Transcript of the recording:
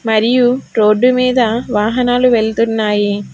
మరియు రోడ్డు మీద వాహనాలు వెళ్తున్నాయి.